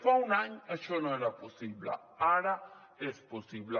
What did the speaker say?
fa un any això no era possible ara és possible